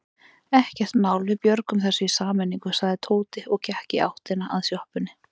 Ekkert mál, við björgum þessu í sameiningu sagði Tóti og gekk í áttina að sjoppunni.